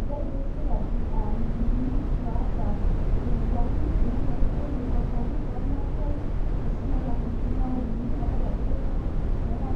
itaituo sirkali inkilinik naajio nekwa kwapi ormaasai nalamita intawuonini , etipika meeta